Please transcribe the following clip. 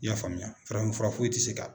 I y'a faamuya farafinfura foyi tɛ se ka